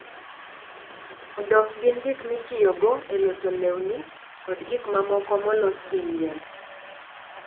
odok gin gik mitiyogo e loso lewni kod gik mamoko molos gi yien.